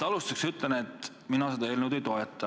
Alustuseks ütlen, et mina seda eelnõu ei toeta.